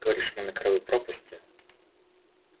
говоришь мы на краю пропасти